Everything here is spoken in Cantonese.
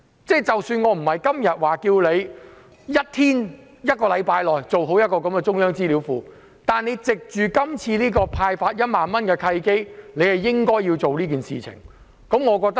我不是要求政府在1天或1星期內設立中央資料庫，但政府應該藉着今次派發1萬元的契機做這件事。